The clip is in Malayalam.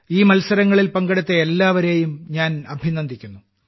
ഈ മത്സരങ്ങളിൽ പങ്കെടുത്ത എല്ലാവരെയും ഞാൻ അഭിനന്ദിക്കുന്നു